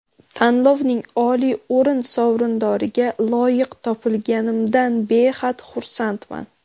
Tanlovning oliy o‘rin sovrindoriga loyiq topilganimdan behad xursandman.